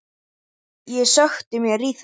Ég sökkti mér í þetta.